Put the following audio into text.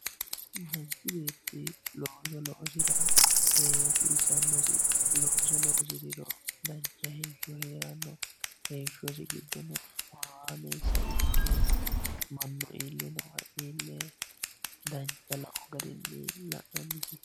manchi beetti looso loosira hasiissannosi looso loosira dancha heeshsho heeranno heeshshosi giddono horaameessa ikke mannu iillinowa iille dancha lao garinni la'nannisi.